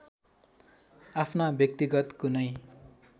आफ्ना व्यक्तिगत कुनै